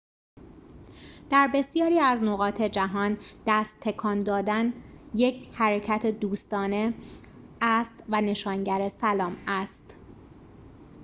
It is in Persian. در بسیاری از نقاط جهان دست تکان دادن یک حرکت دوستانه است و نشانگر سلام است